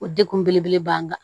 O degun belebele b'an kan